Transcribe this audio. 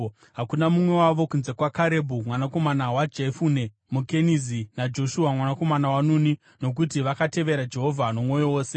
hakuna mumwe wavo kunze kwaKarebhu mwanakomana waJefune muKenizi naJoshua mwanakomana waNuni nokuti vakatevera Jehovha nomwoyo wose.’